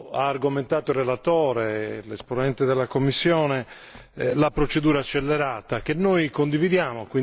ha argomentato il relatore, l'esponente della Commissione, la procedura accelerata, che noi condividiamo.